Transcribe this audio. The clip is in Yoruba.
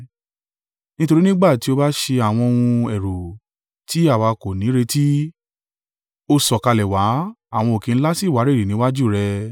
Nítorí nígbà tí o bá ṣe àwọn ohun ẹ̀rù tí àwa kò nírètí, o sọ̀kalẹ̀ wá, àwọn òkè ńlá sì wárìrì níwájú rẹ̀.